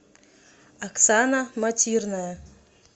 оксана матирная